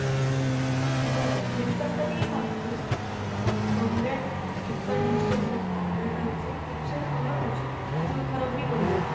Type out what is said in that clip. ଭଲ Flipkart ଟା ଟିକେ କଣ ବହୁତ ଆଁ କମ rate Flipkart meesho ବହୁତ କମ rate ଆସୁଛି ଜିନିଷ ଭଲ ଆଉଛି କିନ୍ତୁ ଖରାପ ବି ପଡି ଯାଉଛି